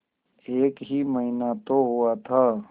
एक ही महीना तो हुआ था